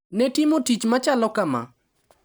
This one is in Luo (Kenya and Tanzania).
Ne timo tich machalo kama.